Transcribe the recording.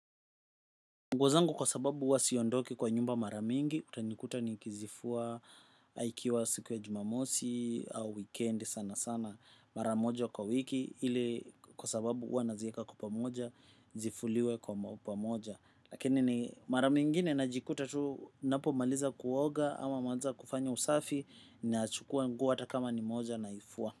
Nguo zangu kwa sababu huwa siondoki kwa nyumba mara mingi, utanikuta ni kizifua, aikiwa siku ya jumamosi, au weekend sana sana maramojo kwa wiki, ili kwa sababu huwa nazieka kwa pamoja, zifuliwe kwa pamoja. Lakini ni mara mingine najikuta tu, napo maliza kuoga, ama maliza kufanya usafi, ninachukua nguo hata kama ni moja naifua.